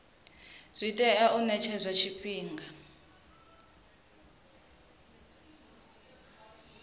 zwi fanela u ṅetshedzwa tshifhinga